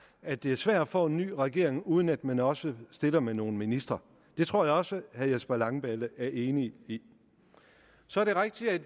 at det er svært at få en ny regering uden at man også stiller med nogle ministre det tror jeg også at herre jesper langballe er enig i så er det rigtigt at